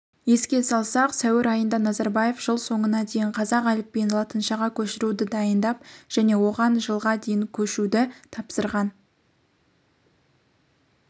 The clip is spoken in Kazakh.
еске салсақ сәуір айында назарбаев жыл соңына дейін қазақ әліпбиін латыншаға көшіруді дайындап және оған жылға дейін көшуді тапсырған